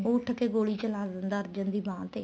ਉਹ ਉੱਠਕੇ ਗੋਲੀ ਚਲਾ ਲੈਂਦਾ ਅਰਜਨ ਦੀ ਬਾਂਹ ਤੇ